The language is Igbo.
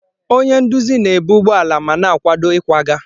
Onye nduzi na-ebu ụgbọ ala ma na-akwado ịkwaga.